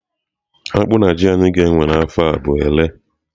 Akpụ na ji anyị ga-ewe n'afọ a bụ ere.